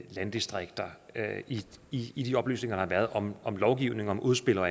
landdistrikter i i de oplysninger der har været om lovgivning om udspil og